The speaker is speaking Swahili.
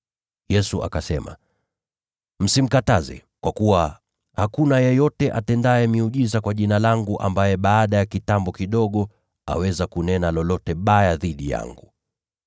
Yesu akasema, “Msimkataze, kwa kuwa hakuna yeyote atendaye miujiza kwa Jina langu ambaye baada ya kitambo kidogo aweza kunena lolote baya dhidi yangu.